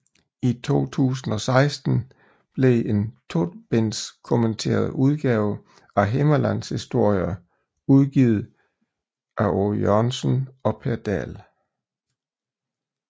I 2016 blev en tobinds kommenteret udgave af Himmerlandshistorier udgivet Aage Jørgensen og Per Dahl